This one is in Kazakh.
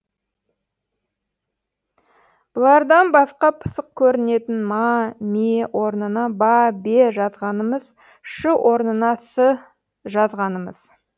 бұлардан басқа пысық көрінетін ма ме орнына ба бе жазғанымыз ш орнына с жазғанымыз